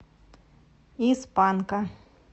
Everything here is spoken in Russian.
из панка